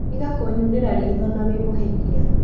Tiga kũnyunĩra ritho na wĩ mũhĩtia